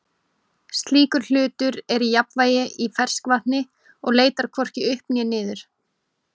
slíkur hlutur er í jafnvægi í ferskvatni og leitar hvorki upp né niður